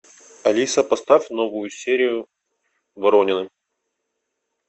алиса поставь новую серию воронины